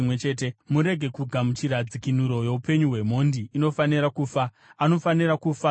“ ‘Murege kugamuchira dzikinuro youpenyu hwemhondi, inofanira kufa. Anofanira kufa zvirokwazvo.